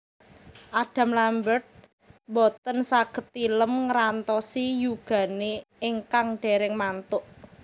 Adam Lambert mboten saget tilem ngrantosi yugane ingkang dereng mantuk